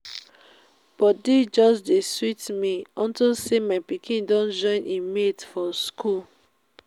body just dey sweet me unto say my pikin don join im mate for school